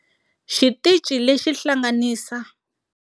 Xitichi lexi hlanganisa.